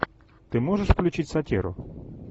ты можешь включить сатиру